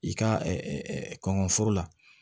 I ka kɔngɔ foro la